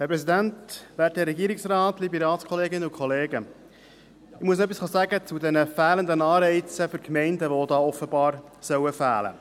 Ich muss etwas zu den Anreizen für die Gemeinden sagen, die offenbar fehlen sollen.